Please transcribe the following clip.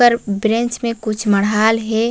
ऊपर ब्रेंच में कुछ मड़हाल हे।